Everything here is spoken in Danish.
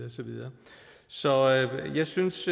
så videre så jeg synes